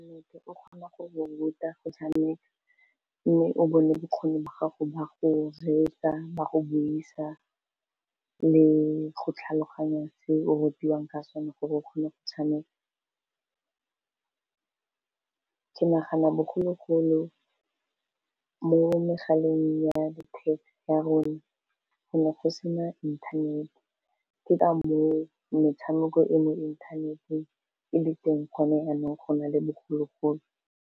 Motho o kgona re ruta go tshameka mme o bone bokgoni ba gago ba go reetsa, ba go buisa, le go tlhaloganya seo o rutiwang ka sone, gore o kgone go tshameka ke nagana bogologolo mo megaleng ya letheka ya rona go ne go se na inthanete ke ka mo metshameko e mo inthaneteng e le teng gone jaanong go na le bogologolo.